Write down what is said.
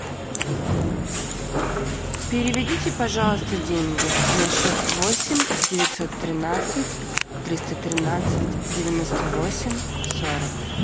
переведите пожалуйста деньги на счет восемь девятьсот тринадцать триста тринадцать девяносто восемь сорок